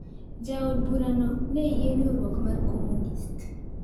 Jaod burano niye riwruok mar komunist